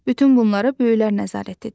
Bütün bunlara böyüklər nəzarət edir.